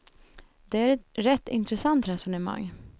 Det är ett rätt intressant resonemang.